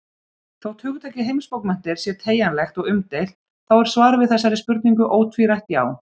Þótt hugtakið heimsbókmenntir sé teygjanlegt og umdeilt, þá er svarið við þessari spurningu ótvírætt já.